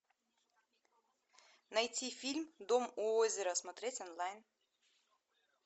найти фильм дом у озера смотреть онлайн